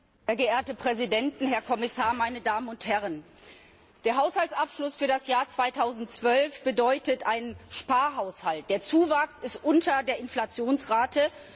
Herr Präsident, sehr geehrte Präsidenten, Herr Kommissar, meine Damen und Herren! Der Haushaltsabschluss für das Jahr 2012 bedeutet einen Sparhaushalt, der Zuwachs liegt unter der Inflationsrate.